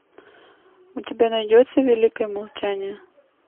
у тебя найдется великое молчание